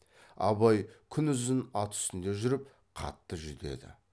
абай күнұзын ат үстінде жүріп қатты жүдеді